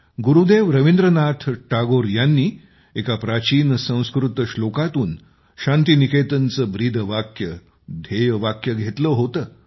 गुरुदेव रवींद्रनाथ टागोर यांनी एका प्राचीन संस्कृत श्लोकातून शांतीनिकेतनचे ब्रीदवाक्यध्येयवाक्य घेतले होते